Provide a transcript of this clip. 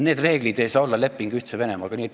Need reeglid ei saa tähendada lepingut Ühtse Venemaaga.